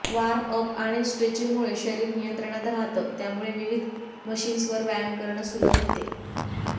warm up आणि स्ट्रेचिंगमुळे शरीर नियंत्रणात राहतं त्यामुळे विविध मशिन्सवर व्यायाम करणं सुलभ होते